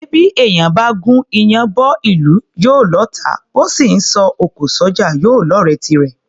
Ṣé bí èèyàn bá gún iyán bọ́ ìlú, yóò lọ́ọ̀tá; bó sì ńsọ òkò s’ọ́jà, yóò lọ́ọ̀rẹ́ tirẹ̀?